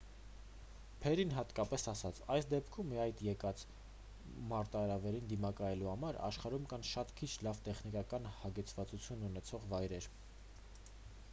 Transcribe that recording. փերրին հատկապես ասաց․«այս դեպքում ի հայտ եկած մարտահրավերին դիմակայելու համար աշխարհում կան շատ քիչ լավ տեխնիկական հագեցվածություն ունեցող վայրեր»։